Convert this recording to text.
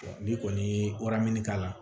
N'i kɔni ye waramini k'a la